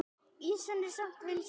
Ýsan er samt vinsæl.